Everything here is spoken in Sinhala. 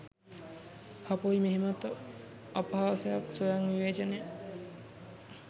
හපොයි මෙහෙමත් අපහසයක් ස්වයං විවේචනය.